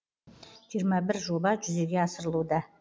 жиырма бір жоба жүзеге асырылуда